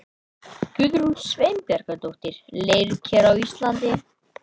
Guðrún Sveinbjarnardóttir, Leirker á Íslandi.